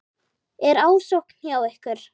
Er ásókn hjá ykkur?